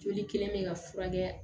Joli kelen bɛ ka furakɛ